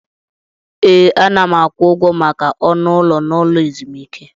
Ee, ana m akwụ ụgwọ maka ọnụ ụlọ n'ụlọ ezumike.